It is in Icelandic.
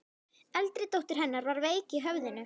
Eldri dóttir hennar var veik í höfðinu.